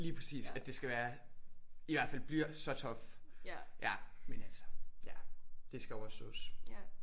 Lige præcis. At det skal være i hvert fald bliver så tough ja men altså ja det skal overstås